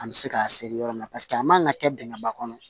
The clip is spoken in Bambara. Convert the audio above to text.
An bɛ se k'a seri yɔrɔ min na paseke a man kan ka kɛ dingɛ ba kɔnɔ